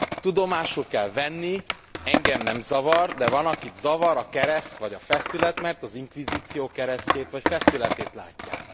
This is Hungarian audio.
Tudomásul kell venni, engem nem zavar, de van akit zavar a kereszt vagy a feszület, mert az inkvizíció keresztjét vagy feszületét látják.